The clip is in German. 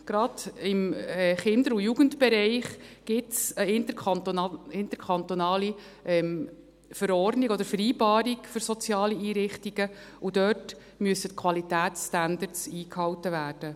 Gerade im Kinder- und Jugendbereich gibt es eine interkantonale Verordnung oder Vereinbarung für soziale Einrichtungen, und dort müssen die Qualitätsstandards eingehalten werden.